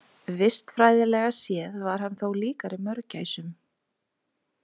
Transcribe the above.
Vistfræðilega séð var hann þó líkari mörgæsum.